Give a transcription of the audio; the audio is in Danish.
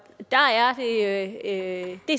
er at at vi